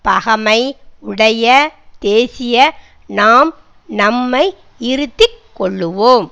பகைமை உடைய தேசிய நாம் நம்மை இருத்தி கொள்ளுவோம்